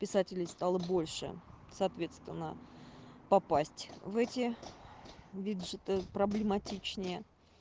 писателей стало больше соответственно попасть в эти виджеты проблематичнее